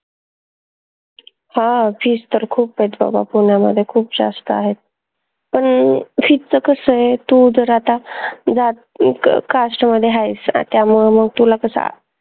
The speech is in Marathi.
हं fees तर खूप आहेत बाबा पुन्यामध्ये खूप जास्त आहे पन fees च कस ए तू जर आता जात क क cast मध्ये हायस त्यामुळे मग तुला कस